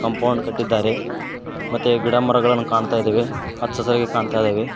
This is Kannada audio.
ಬಾಂಡ್ ಕಟ್ಟಿದ್ದಾರೆ ಮತ್ತೆ ಗಿಡ ಮರಗಳನ್ನ ಕಾಣ್ತಾಇದಾವೆ ಹಚ್ಚ ಹಸಿರಾಗಿ ಕಾಣ್ತಾಇದಾವೆ.